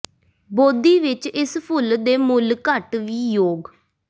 ਬੋਧੀ ਵਿੱਚ ਇਸ ਫੁੱਲ ਦੇ ਮੁੱਲ ਘੱਟ ਵੀ ਯੋਗ